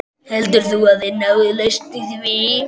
Heldur þú að þið náið lausn í því?